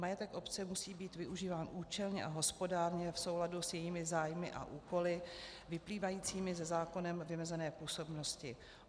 Majetek obce musí být využíván účelně a hospodárně v souladu s jejími zájmy a úkoly vyplývajícími ze zákonem vymezené působnosti.